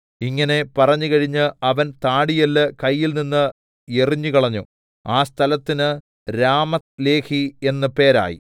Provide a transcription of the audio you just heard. ഇങ്ങനെ പറഞ്ഞുകഴിഞ്ഞ് അവൻ താടിയെല്ല് കയ്യിൽനിന്ന് എറിഞ്ഞുകളഞ്ഞു ആ സ്ഥലത്തിന് രാമത്ത്ലേഹി എന്ന് പേരായി